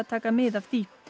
taka mið af því